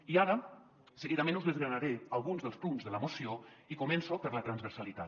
i ara seguidament us desgranaré alguns dels punts de la moció i començo per la transversalitat